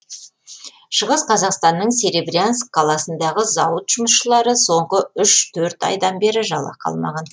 шығыс қазақстанның серебрянск қаласындағы зауыт жұмысшылары соңғы үш төрт айдан бері жалақы алмаған